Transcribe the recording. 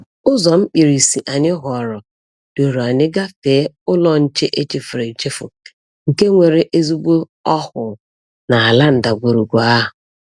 Ụzọ mkpirisi anyị họọrọ duru anyị gafee ụlọ nche echefuru echefu, nke nwere ezigbo ọhụụ n’ala ndagwurugwu ahụ.